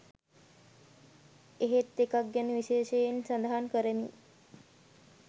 එහෙත් එකක් ගැන විශේෂයෙන් සඳහන් කරමි